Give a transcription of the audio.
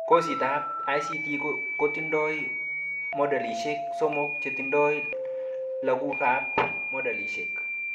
Kositab ICT kotindoi modulishek somok chetindoi lagukab modulishek